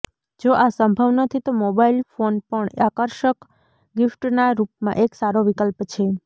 જો આ સંભવ નથી તો મોબાઇલ ફોન પણ આકર્ષક ગિફ્ટના રૂપમાં એક સારો વિકલ્પ છે